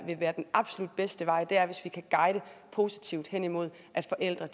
vil være den absolut bedste vej hvis vi kan guide positivt hen imod at forældre